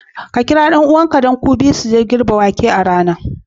Ks kira ɗan'uwanka, don ku biyu ku je ku girbe wake a gona.